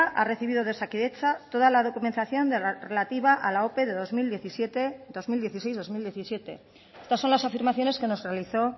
ha recibido de osakidetza toda la documentación relativa a la ope del dos mil dieciséis dos mil diecisiete estas son la afirmaciones que nos realizó